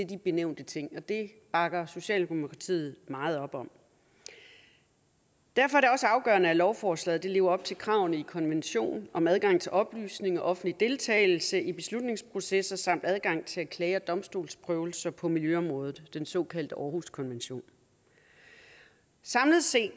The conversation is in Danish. de benævnte ting og det bakker socialdemokratiet meget op om derfor er det også afgørende at lovforslaget lever op til kravene i konventionen om adgang til oplysninger og offentlig deltagelse i beslutningsprocesser samt adgang til at klage og få domstolsprøvelser på miljøområdet den såkaldte århuskonvention samlet set